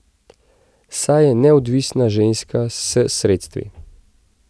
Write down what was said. Saj je neodvisna ženska s sredstvi.